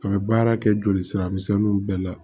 A bɛ baara kɛ joli sira misɛnninw bɛɛ la